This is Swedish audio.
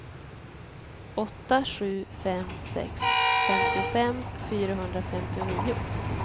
åtta sju fem sex femtiofem fyrahundrafemtionio